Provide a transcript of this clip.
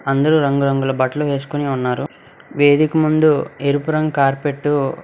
అందరూ రంగురంగుల బట్టలు వేసుకుని ఉన్నారు వేదిక ముందు ఎరుపు రంగు కార్పెట్టు --